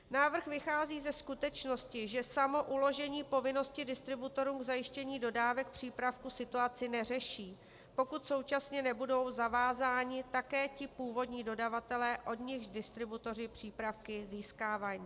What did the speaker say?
Návrh vychází ze skutečnosti, že samo uložení povinnosti distributorům k zajištění dodávek přípravku situaci neřeší, pokud současně nebudou zavázáni také ti původní dodavatelé, od nichž distributoři přípravky získávají.